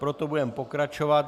Proto budeme pokračovat.